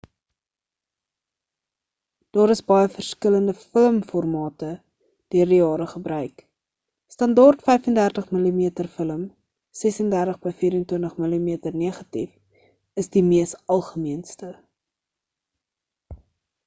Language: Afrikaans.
daar is baie verskillende film formate deur die jare gebruik. standaard 35 mm film 36 by 24 mm negatief is die mees algemeenste